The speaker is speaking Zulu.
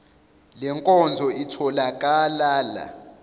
le nkonzo ithokalala